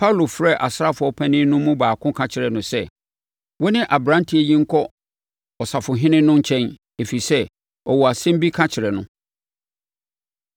Paulo frɛɛ asraafoɔ mpanin no mu baako ka kyerɛɛ no sɛ, “Wo ne aberanteɛ yi nkɔ ɔsafohene no nkyɛn, ɛfiri sɛ, ɔwɔ asɛm bi ka kyerɛ no.”